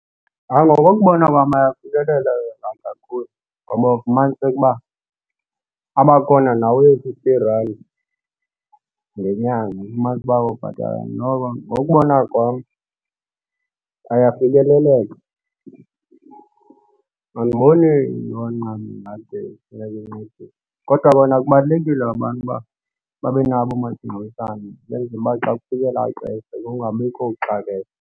Ngokokubona kwam ayafikelela wona kakhulu ngoba ufumaniseka uba abakhona nawe-fifty rand ngenyanga, ufumanise uba ubhatala noko ngokokubona kwam ayafikeleleka. Andiboni nto kungade kufuneka incedise kodwa bona kubalulekile abantu uba babe nabo oomasingcwabisane ukwenzela uba xa kufika lela xesha kungabikho kuxakeka.